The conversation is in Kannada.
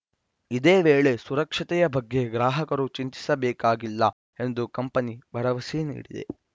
ಇದೇ ವೇಳೆ ಸುರಕ್ಷತೆಯ ಬಗ್ಗೆ ಗ್ರಾಹಕರು ಚಿಂತಿಸಬೇಕಾಗಿಲ್ಲ ಎಂದು ಕಂಪನಿ ಭರವಸೆ ನೀಡಿದೆ